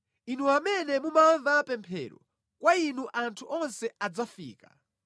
Inu amene mumamva pemphero, kwa inu anthu onse adzafika.